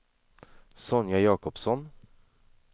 Sonja Jakobsson